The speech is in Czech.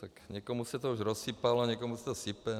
Tak někomu se to už rozsypalo, někomu se to sype.